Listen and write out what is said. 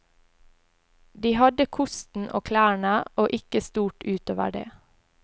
De hadde kosten og klærne, og ikke stort utover det.